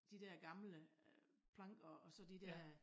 De dér gamle øh planker og så de dér